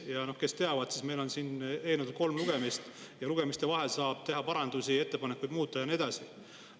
Ja noh, kes teavad, siis meil on siin eelnõudel kolm lugemist ja lugemiste vahel saab teha parandusi, ettepanekuid, muuta ja nii edasi.